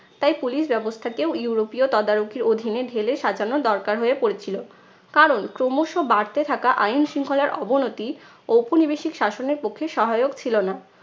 তাই police ব্যবস্থাকেও ইউরোপীয় তদারকির অধীনে ঢেলে সাজানো দরকার হয়ে পড়েছিলো। কারণ ক্রমশ বাড়তে থাকা আইন শৃঙ্খলার অবনতি ঔপনিবেশিক শাসনের পক্ষে সহায়ক ছিলো না।